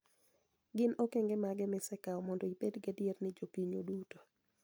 " Gin okenge mage misekawo mondo ibed gadier ni jopinyu duto